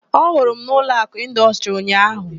Ọ hụrụ m n' Ụlọakụ Ịndọstrị ụnyaahụ?